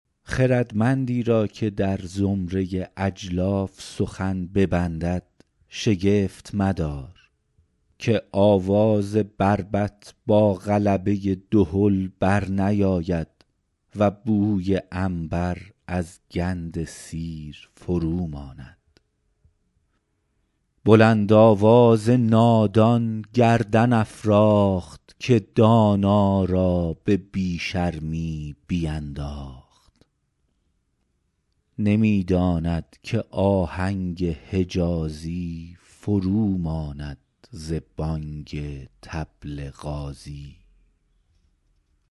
خردمندی را که در زمره اجلاف سخن ببندد شگفت مدار که آواز بربط با غلبه دهل بر نیاید و بوی عنبر از گند سیر فرو ماند بلند آواز نادان گردن افراخت که دانا را به بی شرمی بینداخت نمی داند که آهنگ حجازی فرو ماند ز بانگ طبل غازی